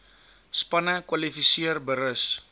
spanne kwalifiseer berus